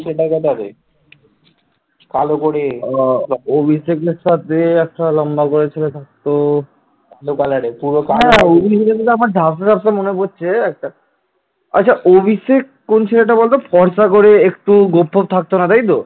আচ্ছা অভিষেক কোনটা বলতো ফর্সা করে একটু গোফ ফোফ থাকতো না তাইতো,